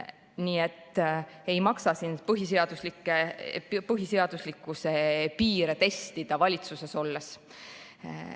Nii et ei maksa põhiseaduslikkuse piire testida valitsuses olles.